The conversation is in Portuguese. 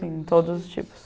Sim, todos os tipos.